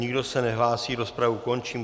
Nikdo se nehlásí, rozpravu končím.